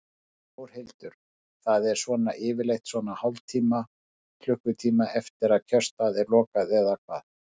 Þórhildur: Það er svona yfirleitt svona hálftíma, klukkutíma eftir að kjörstað er lokað eða hvað?